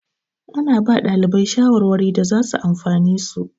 Ana ba ɗalibai shawarwari da zasu amfane su.